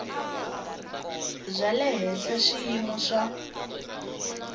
bya le henhla swiyimo swa